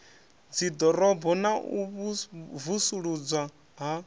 dziḓorobo na u vusuludzwa ha